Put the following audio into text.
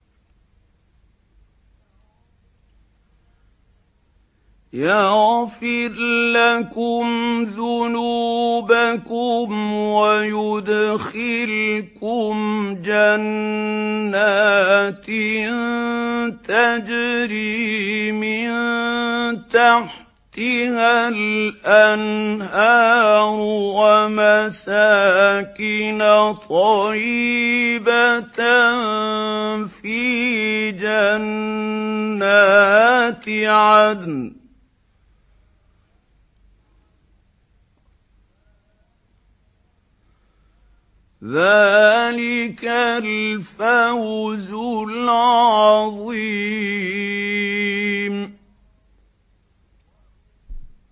يَغْفِرْ لَكُمْ ذُنُوبَكُمْ وَيُدْخِلْكُمْ جَنَّاتٍ تَجْرِي مِن تَحْتِهَا الْأَنْهَارُ وَمَسَاكِنَ طَيِّبَةً فِي جَنَّاتِ عَدْنٍ ۚ ذَٰلِكَ الْفَوْزُ الْعَظِيمُ